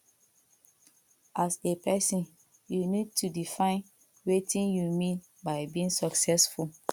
as a person you need to define wetin you mean by being successful